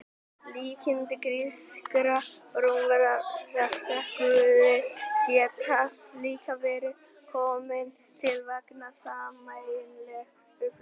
Líkindi grískra og rómverskra guða gætu líka verið komin til vegna sameiginlegs uppruna.